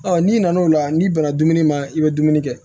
Ɔ n'i nan'o la n'i banna dumuni ma i bɛ dumuni kɛ